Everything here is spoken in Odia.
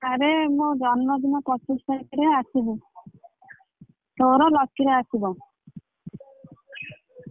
ଆରେ ମୋ ଜନ୍ମଦିନ ପଚିଶ ତାରିଖରେ ଆସିବୁ ତୋର ଲକିର ଆସିବ।